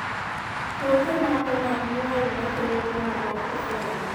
kothe moko mag nyuol makelo tuono pok ofweny